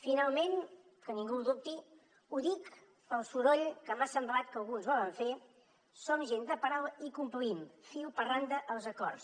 finalment que ningú ho dubti ho dic pel soroll que m’ha semblat que alguns volen fer som gent de paraula i complim fil per randa els acords